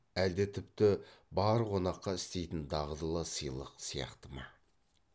әлде тіпті бар қонаққа істейтін дағдылы сыйлық сияқты ма